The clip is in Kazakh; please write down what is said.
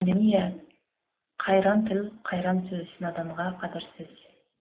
қайран тіл қайран сөз наданға қадірсіз